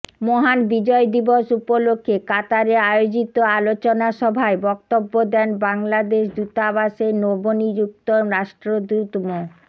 মহান বিজয় দিবস উপলক্ষে কাতারে আয়োজিত আলোচনা সভায় বক্তব্য দেন বাংলাদেশ দূতাবাসের নবনিযুক্ত রাষ্ট্রদূত মো